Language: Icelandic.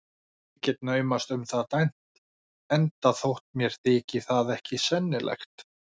Ég get naumast um það dæmt, enda þótt mér þyki það ekki sennilegt.